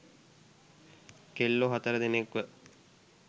කෙල්ලෝ හතර දෙනෙක්ව